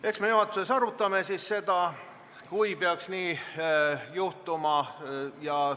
Eks me siis juhatuses arutame seda, kui peaks nii juhtuma.